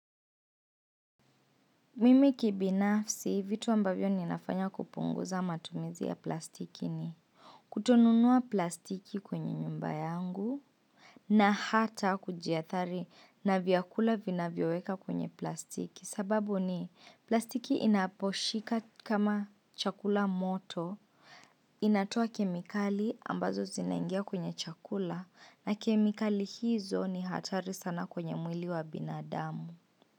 Mimi kibinafsi vitu ambavyo ninafanya kupunguza matumizi ya plastiki ni kutonunua plastiki kwenye nyumba yangu na hata kujiathari na vyakula vinapowekwa kwa plastiki sababu ni plastiki inaposhika chakula moto inatoa kemikali ambazo zinaingia kwenye chakula na kemikali hizo ni hatari sana kwenye mwili wa binadamu.